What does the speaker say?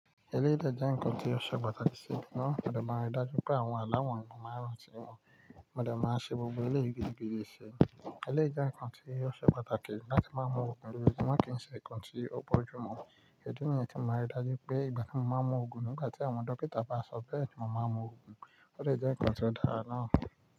Eléyìí dá jẹ́ ǹkan tí ó ṣe pàtàkì na, mọ de mari dàájú pé àwọn aláwọ̀n yi mo màá ránti wọ̀n. Màá ṣe gbogbo eléyìí gidi gidi si. Eléyìí jẹ́ ǹkan tí ó ṣe pàtàkì láti máa mú ogun lojojumo kì í ṣe ǹkan tí ó bọ̀jù mu. Idi nìyen tí momàá ri dàájú pé, igba ti mo ma mú ogun lo igbá tí àwọn dọ́kítà bá ṣọ bé ni mo máa mú ogun, ọde jẹ́ ǹkan tí ó dára ǹa.